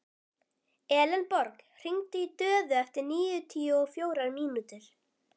Elenborg, hringdu í Döðu eftir níutíu og fjórar mínútur.